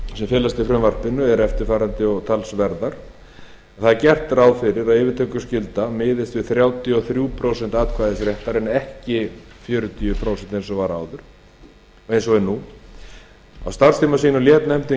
sem felast í frumvarpi þessu eru eftirfarandi og talsverðar gert er ráð fyrir að yfirtökuskylda miðist við þrjátíu og þrjú prósent atkvæðisréttar en ekki fjörutíu prósent eins og er nú á starfstíma sínum lét nefndin